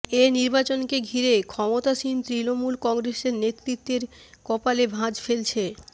এ নির্বাচনকে ঘিরে ক্ষমতাসীন তৃণমূল কংগ্রেসের নেতৃত্বের কপালে ভাঁজ ফেলছে